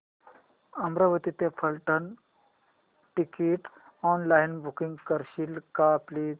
बारामती ते Phaltan ticket online book करशील का प्लीज